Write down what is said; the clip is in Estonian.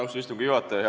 Austatud istungi juhataja!